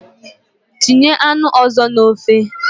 Tinye anụ ozo na ofe!